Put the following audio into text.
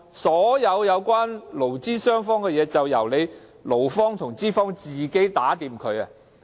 所有關乎勞資雙方的事宜難道就交由勞方和資方自行商妥？